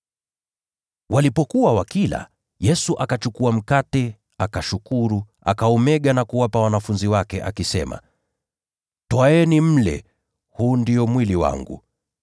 Walipokuwa wanakula, Yesu akachukua mkate, akashukuru, akaumega na kuwapa wanafunzi wake, akisema, “Twaeni mle; huu ndio mwili wangu.”